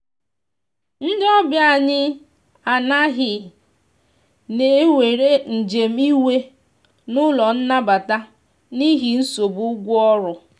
ndi ọbịa anyi anaghi na enwere njem iwe n'ụlọ nabata n'ihi nsogbụ ụgwọ ọrụ